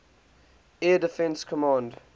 air defense command